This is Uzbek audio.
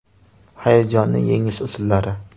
Hayajonni yengish usullari.